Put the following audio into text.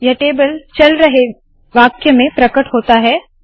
यह टेबल चल रहे वाक्य में प्रकट होता है